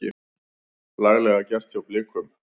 Laglega gert hjá Blikum.